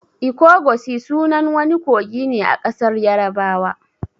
'Ikogosi'' sunan wani kogi ne a ƙasar yarabawa.